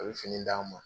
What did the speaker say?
A bɛ fini d'an ma